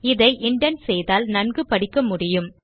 இதை இண்டென்ட் செய்தால் நன்கு படிக்க முடியும்